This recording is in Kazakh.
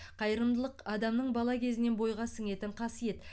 қайырымдылық адамның бала кезінен бойға сіңетін қасиет